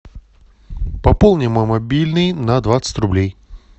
пополни мой мобильный на двадцать рублей